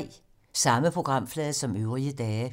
Samme programflade som øvrige dage